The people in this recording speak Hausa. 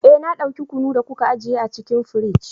Eh na dauki kunu da kuka ajiye a cikin firij.